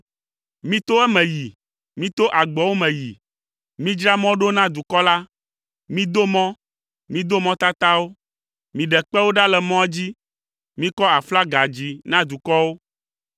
Mito eme yi, mito agboawo me yi! Midzra mɔ ɖo na dukɔ la. Mido mɔ, mido mɔtatawo. Miɖe kpewo ɖa le mɔa dzi. Mikɔ aflaga dzi na dukɔwo.